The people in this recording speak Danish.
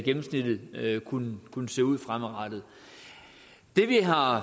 gennemsnittet kunne kunne se ud fremadrettet det vi har